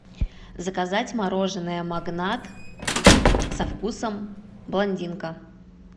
заказать мороженое магнат со вкусом блондинка